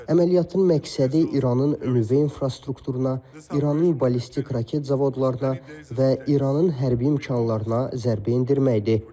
Əməliyyatın məqsədi İranın nüvə infrastrukturuna, İranın ballistik raket zavodlarına və İranın hərbi mərkəzlərinə zərbə endirməkdir.